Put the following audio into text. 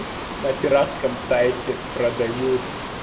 на пиратском сайте продают